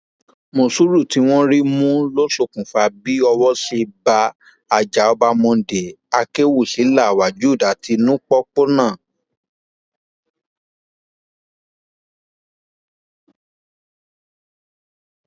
mòsúrù tí wọn rí mú ló ṣokùnfà bí owó ṣe bá àjàọba monday akẹwúsílà wajud àti nupo pọnà